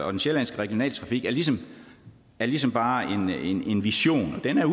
og den sjællandske regionaltrafik er ligesom er ligesom bare en vision og den